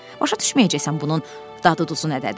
Başa düşməyəcəksən bunun dadı duzu nədədir.